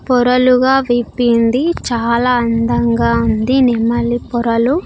పొరలుగా విప్పింది చాలా అందంగా ఉంది నెమ్మలీ పొరలు.